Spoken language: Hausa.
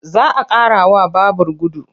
Za a ƙarawa babur gudu.